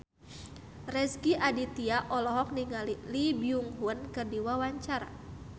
Rezky Aditya olohok ningali Lee Byung Hun keur diwawancara